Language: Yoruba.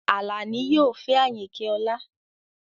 Alani yoo fẹ Ayinke ọla